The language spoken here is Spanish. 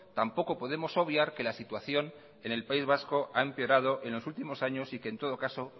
tampoco podemos obviar que la situación en el país vasco ha empeorado en los últimos años y que en todo caso